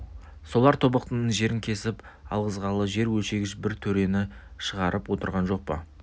солар тобықтының жерін кесіп алғызғалы жер өлшегіш бір төрені шығарып отырған жоқ па